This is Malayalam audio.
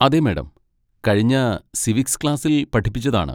അതെ, മാഡം. കഴിഞ്ഞ സിവിക്സ് ക്ലാസ്സിൽ പഠിപ്പിച്ചതാണ്.